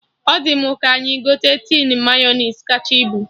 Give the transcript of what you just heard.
Ọ dị mụ ka anyị gote tin Mayọnais kacha ibu